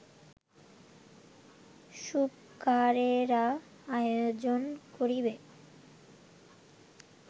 সূপকারেরা আয়োজন করিবে